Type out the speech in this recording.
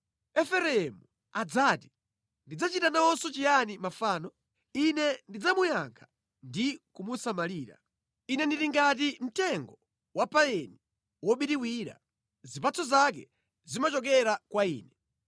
Efereimu adzati, “Ndidzachita nawonso chiyani mafano? Ine ndidzamuyankha ndi kumusamalira. Ine ndili ngati mtengo wa payini wobiriwira; zipatso zako zimachokera kwa Ine.”